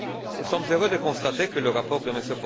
Nous sommes heureux de constater que le rapport de M.